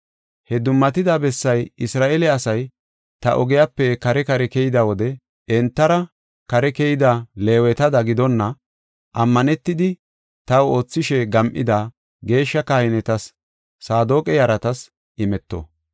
Ha dummatida bessay Isra7eele asay ta ogiyape kare kare keyida wode entara kare keyida Leewetada giddona, ammanetidi taw oothishe gam7ida, geeshsha kahinetas, Saadoqa yaratas imeto.